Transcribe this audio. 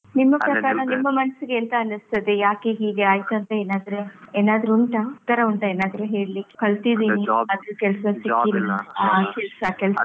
ನಿಮ್ಮ ಪ್ರಕಾರ ನಿಮ್ಮ ಮನ್ಸಿಗೆ ಎಂತ ಅನಿಸ್ತದೆ, ಯಾಕೆ ಹೀಗೆ ಆಯ್ತಾ ಅಂತ ಏನಾದ್ರೆ, ಏನಾದ್ರು ಉಂಟಾ, ಆತರ ಉಂಟಾ ಏನಾದ್ರು ಹೇಳಿಕ್ಕೆ? ಕಲ್ತಿದ್ದೇನೆ ಆದ್ರೂ ಕೆಲ್ಸ ಸಿಗ್ಲಿಲ್ಲ ಆಹ್ ಕೆಲ್ಸ ಕೆಲ್ಸ.